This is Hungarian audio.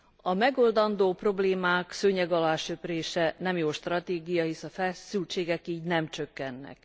A megoldandó problémák szőnyeg alá söprése nem jó stratégia, hisz a feszültségek így nem csökkennek.